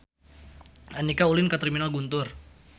Andika ulin ka Terminal Guntur